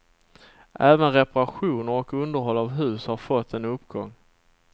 Även reparationer och underhåll av hus har fått en uppgång.